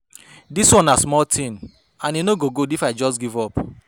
Dis one na small thing and e no go good if I just give up